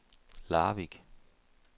Larvik